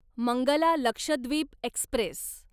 Mangala Lakshadweep Express